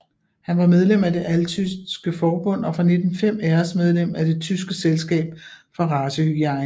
Han var medlem af Det altyske forbund og fra 1905 æresmedlem af Det tyske selskab for racehygiene